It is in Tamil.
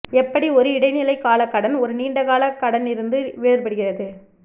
எப்படி ஒரு இடைநிலை கால கடன் ஒரு நீண்ட கால கடன் இருந்து வேறுபடுகிறது